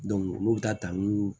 olu bɛ taa ta n'u